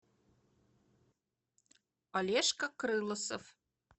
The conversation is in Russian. олежка крылосов